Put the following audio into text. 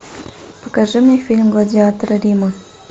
покажи мне фильм гладиаторы рима